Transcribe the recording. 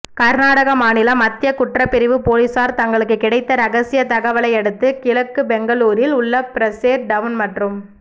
கர்நாடக மாநில மத்திய குற்றப்பிரிவு போலீசார் தங்களுக்கு கிடைத்த ரகசிய தகவலையடுத்து கிழக்கு பெங்களூரில் உள்ள பிரேசர் டவுன் மற்றும்